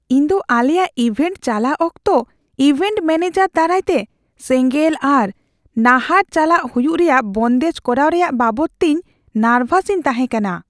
ᱤᱧ ᱫᱚ ᱟᱞᱮᱭᱟᱜ ᱤᱵᱷᱮᱱᱴ ᱪᱟᱞᱟᱜ ᱚᱠᱛᱚ ᱤᱵᱷᱮᱱᱴ ᱢᱮᱹᱱᱮᱡᱟᱨ ᱫᱟᱨᱟᱭᱛᱮ ᱥᱮᱸᱜᱮᱞ ᱟᱨ ᱱᱟᱦᱟᱨ ᱪᱟᱞᱟᱜ ᱦᱩᱭᱩᱜ ᱨᱮᱭᱟᱜ ᱵᱚᱱᱫᱮᱡ ᱠᱚᱨᱟᱣ ᱨᱮᱭᱟᱜ ᱵᱟᱵᱚᱫᱛᱮ ᱤᱧ ᱱᱟᱨᱵᱷᱟᱥ ᱤᱧ ᱛᱟᱦᱮᱸ ᱠᱟᱱᱟ ᱾